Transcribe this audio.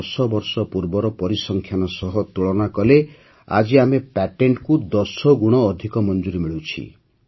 ୧୦ ବର୍ଷ ପୂର୍ବର ପରିସଂଖ୍ୟାନ ସହ ତୁଳନା କଲେ ଆଜି ଆମ ପ୍ୟାଟେଣ୍ଟକୁ ୧୦ ଗୁଣ ଅଧିକ ମଞ୍ଜୁରୀ ମିଳୁଛି